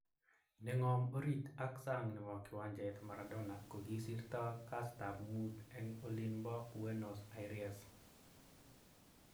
Nengom orit ak sang nebo kiwanjet, Maradona kokisirto kastab mut eng olinbo Buenos Aires.